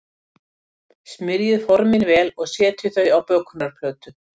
Smyrjið formin vel og setjið þau á bökunarplötu.